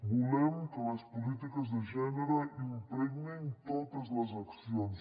volem que les polítiques de gènere impregnin totes les accions